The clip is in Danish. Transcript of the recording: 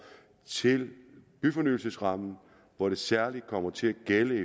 til byfornyelsesrammen hvor det særlig kommer til at gælde